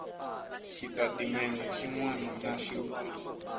xitatimendhe xin wana na xin